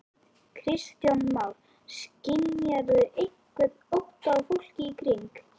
Kristján Már: Skynjarðu einhvern ótta á fólki í kring?